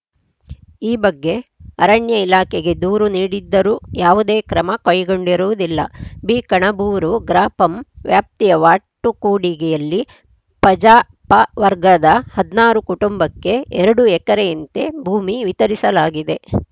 ಈ ಬಗ್ಗೆ ಅರಣ್ಯ ಇಲಾಖೆಗೆ ದೂರು ನೀಡಿದ್ದರೂ ಯಾವುದೇ ಕ್ರಮ ಕೈಗೊಂಡಿರುವುದಿಲ್ಲ ಬಿಕಣಬೂರು ಗ್ರಾಪಂ ವ್ಯಾಪ್ತಿಯ ವಾಟುಕೂಡಿಗೆಯಲ್ಲಿ ಪಜಾ ಪವರ್ಗದ ಹದಿನಾರು ಕುಟುಂಬಕ್ಕೆ ಎರಡು ಎಕರೆಯಂತೆ ಭೂಮಿ ವಿತರಿಸಲಾಗಿದೆ